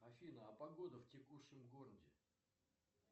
афина а погода в текущем городе